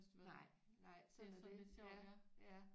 Nej nej sådan er det ja ja